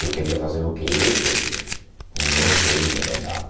Eu queria fazer o que eu queria e não o que ele me mandava.